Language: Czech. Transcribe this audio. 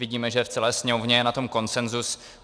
Vidíme, že v celé sněmovně je na tom konsenzus.